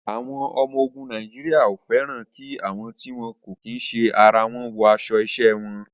Àwọn ọmọ ogun Nàìjíríà ò fẹ́ràn kí àwọn tí wọn kì í ṣe ara wọn wọ aṣọ iṣẹ́ wọn.